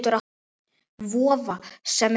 Vofa, sem á sveimi er.